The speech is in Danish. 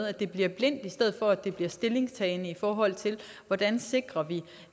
at det bliver blindt i stedet for at det bliver stillingstagende i forhold til hvordan vi sikrer